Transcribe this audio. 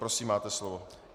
Prosím, máte slovo.